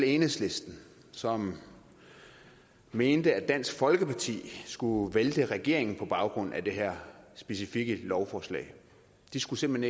enhedslisten som mente at dansk folkeparti skulle vælte regeringen på baggrund af det her specifikke lovforslag de skulle simpelt